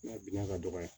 Nka bina ka dɔgɔya